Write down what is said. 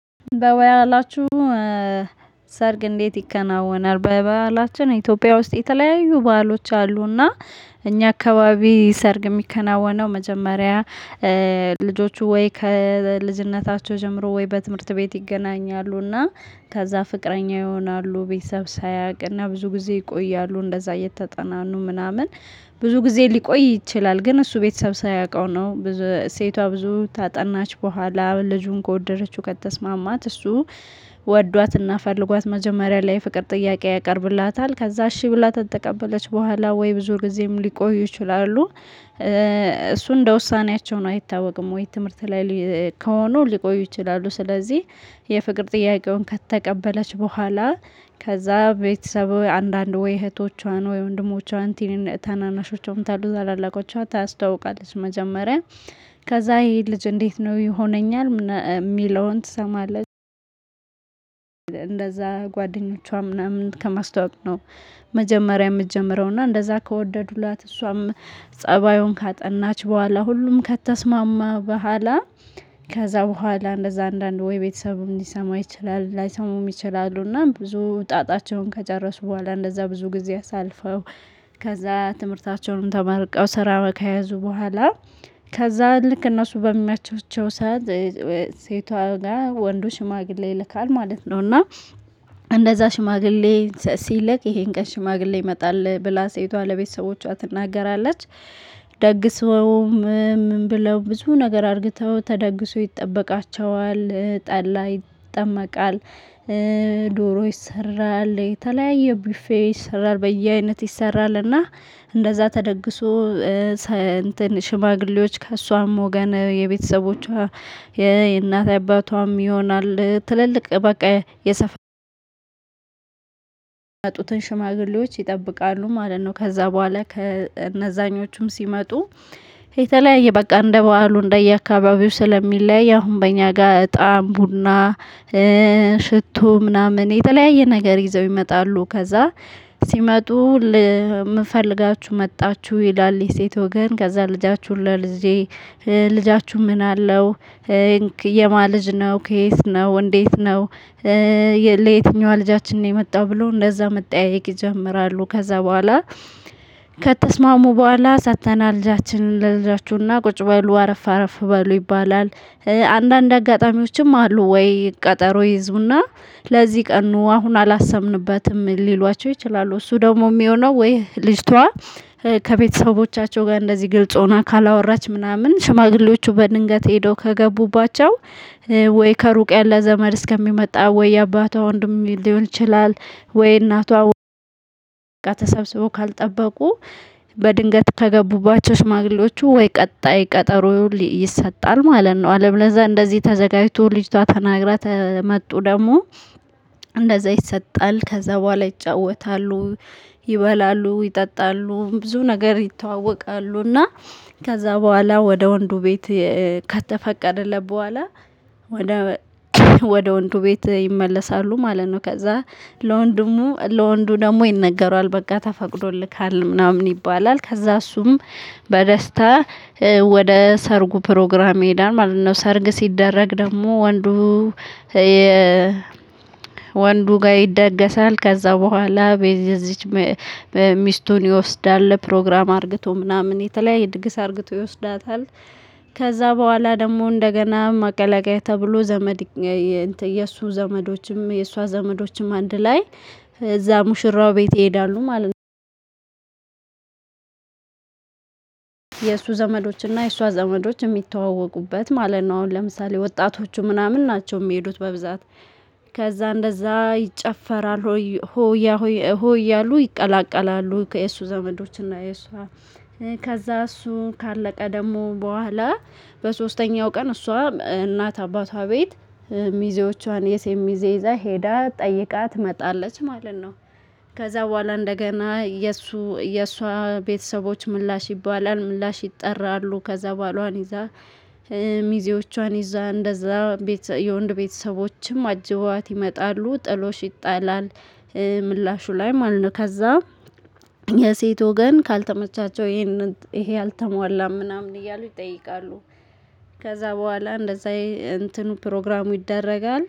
በባህላችሁ? ሰርግ እንዴት ይከናወናል በባላችን ኢትዮጵያ ውስጥ የተለያዩ ባህሎች አሉና። እኛ አካባቢ ሰርግ የሚከናወነው መጀመሪያ ልጆቹ ወይ ከልጅነታቸው ጀምሮ ወይ በትምህርት ቤት ይገናኛሉ እና ከዛ ፍቅረኛ ይሆናሉ ቤተሰብ ሳያውቅና ብዙ ጊዜ ይቆያሉ እንደዛ እየተጠናኑ ምናምን ብዙ ጊዜ ሊቆይ ይችላል። ግን እሱ ቤተሰብ ሳያውቀው ነው። ብዝ ሴቷ ብዙ ታጠናች በኋላ ልጁን ከወደደችው ከተስማማት እሱ ወዷትና ፈልጓት መጀመሪያ ላይ የፍቅር ጥያቄ ያቀርብላታል ከዛ እሺ ብላ ተተቀበለች በኋላ ወይ ብዙ ጊዜም ሊቆዩ ይችላሉ። እሱ እንደ ውሳኔያቸው ነው አይታወቅም ወይ ትምህርት ላይሊ ከሆኑ ሊቆዩ ይችላሉ። ስለዚህ የፍቅር ጥያቄውን ከተቀበለች በኋላ ከዛ ቤተሰቦ አንዳንድ ወይ እህቶቿን ወይ ወንድሞቿን ትንን ታናናሾቿን ታሉ ታላላቆቿን ታስታውቃለች። መጀመሪያ ከዛ ይሄ ልጅ እንዴት ነው ይሆነኛል ምና የሚለውን ትሰማለች። እንደዛ ጓደኞቿ ምናምን ከማስተዋወቅ ነው። መጀመሪያ የምትጀምረው እና እንደዛ ከወደዱላት እሷም ፀባዩን ካጠናች በኋላ ሁሉም ከተስማማ በኋላ። ከዛ በኋላ እንደዛ አንዳንድ ወይ ቤተሰብም ሊሰማ ይችላል ላይሰሙም ይችላሉ። እና ብዙ ጣጣቸውን ከጨረሱ በኋላ እንደዛ ብዙ ጊዜ አሳልፈው ከዛ ትምህርታቸውንም ተመርቀው ስራው ከያዙ በኋላ። ከዛ ልክ እነሱ በሚያያቻቸው ሰዓት ሴቷ ጋር ወንዱ ሽማግሌ ይልካል ማለት ነው። እና እንደዛ ሽማግሌ ሲልክ ይሄን ቀን ሽማግሌ ይመጣል ብላ ሴቷ ለቤተሰቦቿ ትናገራለች። ደግሰውም ማንብለው ብዙ ነገር አድርግተው ተደግሰው ይጠበቃቸዋል ጠላ ይጠመቃል። ዶሮ ይሰራል የተለያየ ብፌ ይሰራል በየአይነት ይሰራል እና እንደዛ ተደግሶ። ሰ እንትን ሽማግሌዎች ከእሷም ወገን የቤተሰቦቿ የእናት አባቷም ይሆናል ትልልቅ በቃ የሰፋ የመጡትን ሽማግሌዎች ይጠብቃሉ ማለት ነው። ከዛ በኋላ ከእነዛኞቹም ሲመጡ የተለያየ በቃ እንደ በዓሉ እንደየአካባቢው ስለሚለያይ አሁን በእኛ ጋር እጣን ቡና ሽቶ ምናምን የተለያየ ነገር ይዘው ይመጣሉ። ከዛ ሲመጡ ልምን ፈልጋችሁ መጣችሁ ይላል የሴት ወገን ከዛ ልጃችሁን ለልጄ ልጃችሁ ምን አለው የማ ልጅ ነው ከየት ነው እንዴት ነው? ለየትኛዋ ልጃችን ነው የመጣው ብሎ እንደዛ መጠያየቅ ይጀምራሉ። ከዛ በኋላ ከተስማሙ በኋላ ሰጥተናል ልጃችንን ለልጃችሁና ቁጭ በሉ አረፍ አረፍ በሉ ይባላል። አንዳንድ አጋጣሚዎችም አሉ ወይ ቀጠሮ ይዙና ለዚህ ቀን ኑ አሁን አላሰብንበትም ሊሏቸው ይችላሉ። እሱ ደግሞ የሚሆነው ወይ ልጅቷ ከቤተሰቦቻቸው ጋር እንደዚህ ግልጽ ሆና ካላወራች ምናምን ሽማግሌዎቹ በድንገት ሄዶ ከገቡባቸው ወይ ከሩቅ ያለ ዘመድ እስከሚመጣ ወይ የአባቷ ወንድም ሊሆን ይችላል። ወይ እናቷ ወይ ተሰብስቦ ካልጠበቁ በድንገት ከገቡባቸው ሽማግሌዎቹ ወይ ቀጣይ ቀጠሮ ይሰጣል ማለት ነው። አለበለዛ እንደዚህ ተዘጋጅቶ ልጅቷ ተናግራ ተመጡ ደግሞ እንደዛ ይሰጣል ከዛ በኋላ ይጫወታሉ። ይበላሉ ይጠጣሉ ብዙ ነገር ይተዋወቃሉ እና ከዛ በኋላ ወደ ወንዱ ቤት ከተፈቀደለት በኋላ ወደ ወደ ወንዱ ቤት ይመለሳሉ ማለት ነው። ከዛ ለወንድሙ ለወንዱ ደግሞ ይነገራል በጋ ተፈቅዶልካል ምናምን ይባላል ከዛ እሱም በደስታ ወደ ሰርጉ ፕሮግራም ይሄዳል ማለት ነው። ሰርግ ሲደረግ ደግሞ ወንዱ የ ወንዱ ጋር ይደገሳል ከዛ በኋላ በዚህ እዚች ሚስቱን ይወስዳል ፕሮግራም አርግቶ ምናምን የተለያየ ድግስ አርግቶ ይወስዳታል። ከዛ በኋላ ደግሞ እንደገና ማቀላቀያ ተብሎ ዘመድ የግ እንትን የእሱ ዘመዶችም የእሷ ዘመዶችም አንድ ላይ እዛ ሙሽራው ቤት ይሄዳሉ ማለት ነው። የእሱ ዘመዶችና የእሷ ዘመዶች የሚተዋወቁበት ማለት ነው። አሁን ለምሳሌ ወጣቶቹ ምናምን ናቸው የሚሄዱት በብዛት። ከዛ እንደዛ ይጨፈራል ሆይ ሆያሆይ ሆ እያሉ ይቀላቀላሉ ከየሱ ዘመዶችና የሷ ከዛ እሱ ካለቀ ደግሞ በኋላ በሶስተኛው ቀን እሷ እናት አባቷ ቤት ሚዜዎቿን የሴት ሚዜ ይዛ ሄዳ ጠይቃት ትመጣለች። ማለት ነው። ከዛ በኋላ እንደገና የእሱ የእሷ ቤተሰቦች ምላሽ ይባላል ምላሽ ይጠራሉ ከዛ ባሏን ይዛ ሚዜዎቿን ይዛ እንደዛ ቤት የወንድ ቤተሰቦችም አጀበዋት ይመጣሉ ጥሎሽ ይጣላል። ምላሹ ላይ ማለት ነው ከዛ የሴት ወገን ካልተመቻቸው ይሄንን ይሄ አልተሟላም ምናምን እያሉ ይጠይቃሉ። ከዛ በኋላ እንደዛ እንትኑ ፕሮግራሙ ይደረጋል